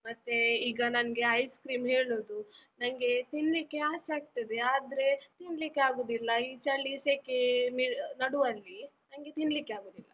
ಮತ್ತೆ ಈಗ ನನ್ಗೆ ice cream ಹೇಳುದು, ನನ್ಗೆ ತಿನ್ಲಿಕ್ಕೆ ಆಸೆಯಾಗ್ತದೆ ಆದ್ರೆ ತಿನ್ಲಿಕ್ಕೆ ಆಗುದಿಲ್ಲ, ಈ ಚಳಿ ಸೆಕೆ ನಡುವಲ್ಲಿ ನನ್ಗೆ ತಿನ್ಲಿಕ್ಕೆ ಆಗುದಿಲ್ಲ.